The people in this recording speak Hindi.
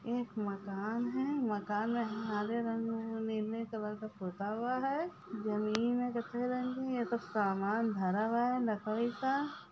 एक मकान है मकान में हरे रंग में लिले कलर के पोता हुवा है जामिन ये तो सामान भरा हुआ है लकरी का